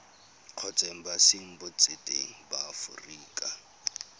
kgotsa embasing botseteng ba aforika